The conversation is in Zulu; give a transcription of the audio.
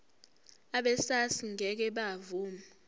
abesars ngeke bavuma